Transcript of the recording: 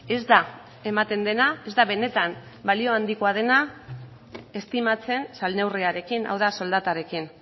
ez da ematen dena ez da benetan balio handikoa dena estimatzen salneurriarekin hau da soldatarekin